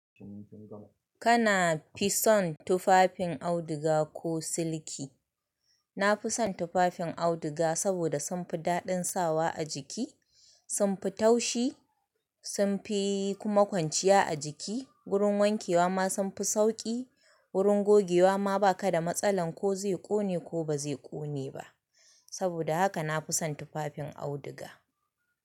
Kana fi son tufafin auduga ko siliki? Na fi son tufafin auduga, saboda sumfi daɗin sawa a jiki, sumfi taushi, sumfi kuma kwanciya a jiki. Wurin wankewa ma sumfi sauƙi, wurin gogewa ma baka da matsalan ko zai ƙone ko ba zai ƙone ba. Saboda haka na fi son tufafin auduga.